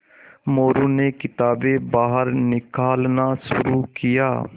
मोरू ने किताबें बाहर निकालना शुरू किया